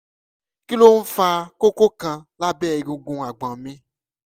kí ló ń fa kókó kan lábẹ́ egungun agbọ̀n mi?